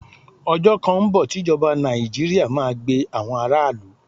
Ọjọ́ kan ń bọ̀ tí ìjọba Nàìjíríà máa gbe àwọn aráàlú.